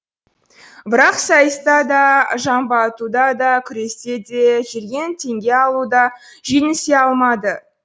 бірақ сайыста да жамбы атуда да күресте де жерден теңге алуда да жеңісе алмады